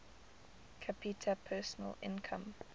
capita personal income